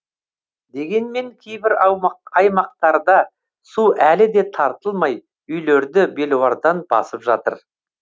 дегенмен кейбір аймақтарда су әлі де тартылмай үйлерді белуардан басып жатыр